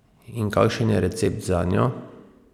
In kakšen je recept zanjo?